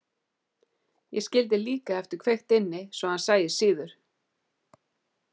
Ég skildi líka eftir kveikt inni svo hann sæist síður.